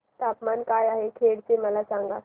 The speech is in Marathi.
तापमान काय आहे खेड चे मला सांगा